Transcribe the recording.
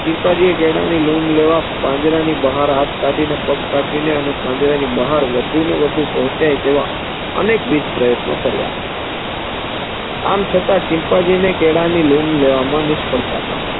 ચિમ્પાન્જિયે કેળાની લૂમ લેવા પાંજરાની બહાર હાથ કાઠીને પગ કાઠીને અને પાંજરાની બહાર વધુને વધુ પહોચ્ય તેવા અનેક વિધ પ્રયત્નો કાર્ય આમ છતાં ચિમ્પાન્જીને કેળાની લૂમ લેવાની નિષ્ફ્ળતા મળી